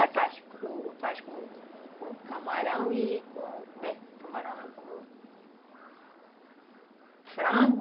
A gente faz com com camarão e com, como é... Camarão não, com... Frango.